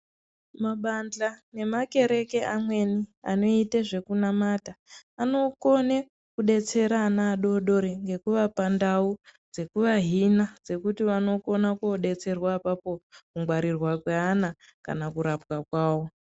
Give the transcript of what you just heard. Mabandhla nemakereke amweni anoite zvekunamata anokone kudetsera ana adodori ngekuvapa ndau dzekuvahina dzekuti vanokona kodetserwa apapo kungwarirwa kweana kana kurapwa kwawo.